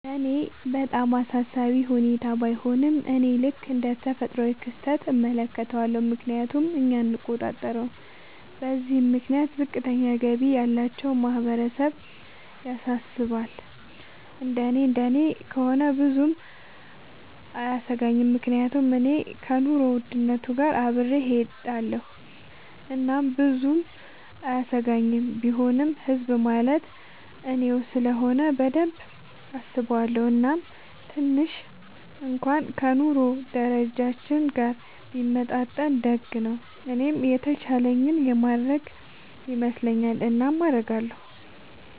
ለኔ በጣም አሳሳቢ ሁኔታ ባይሆንም፤ እኔ ልክ እንደ ተፈጥሯዊ ክስተት እመለከተዋለሁ፤ ምክንያቱም እኛ አንቆጣጠረውም። በዚህም ምክንያት ዝቅተኛ ገቢ ያላቸው ማህበረሰብ ያሳስባል፤ እንደኔ እንደኔ ከሆነ ብዙም አያሰኘኝም፤ ምክንያቱም እኔ ከኑሮ ውድነት ጋር አብሬ እሆዳለኹ እናም ብዙም አያሰጋኝም፤ ቢሆንም ህዝብ ማለት እኔው ስለሆነ በደንብ አስበዋለው፤ እናም ትንሽ እንኩዋን ከ ኑሮ ደረጃችን ጋር ቢመጣጠን ደግ ነው። እኔም የተቻለኝን የማረግ ይመስለኛል። እናም አረጋለው።